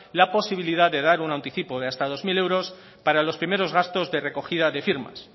la posibilidad de dar un anticipo de hasta dos mil euros para los primeros gastos de recogida de firmas